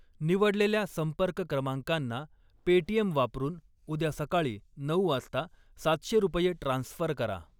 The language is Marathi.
निवडलेल्या संपर्क क्रमांकांना पेटीएम वापरून उद्या सकाळी नऊ वाजता सातशे रुपये ट्रान्स्फर करा.